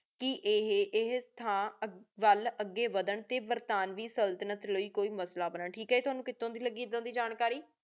ਕੀ ਏਹੀ ਸਿਥਨ ਅਗੀ ਵਾਦਾਂ ਟੀ ਬਰ੍ਤ੍ਨਾਵਿਉ ਸੁਲ੍ਤ੍ਨਤ ਲਾਏ ਕੋਈ ਮਸਲਾ ਬਣਨ ਠੀਕ ਹੈ ਤ੍ਵਾਨੁ ਕਿਥੋ ਦੇ ਲਾਗੀ ਆਹੀ ਜਾਣਕਾਰੀ